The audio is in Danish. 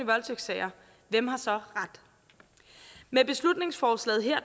voldtægtssager hvem har så ret med beslutningsforslaget her